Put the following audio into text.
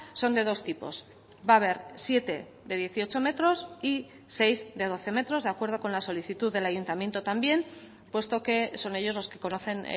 son de dos tipos va a ver siete de dieciocho metros y seis de doce metros de acuerdo con la solicitud del ayuntamiento también puesto que son ellos los que conocen